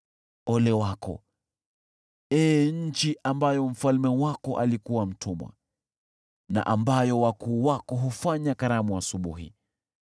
Ole wako, ee nchi ambayo mfalme wako alikuwa mtumwa na ambayo wakuu wako hufanya karamu asubuhi.